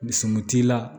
Sɔmi t'i la